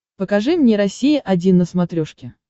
покажи мне россия один на смотрешке